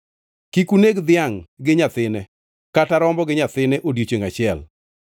Kik uneg dhiangʼ gi nyathine, kata rombo gi nyathine odiechiengʼ achiel.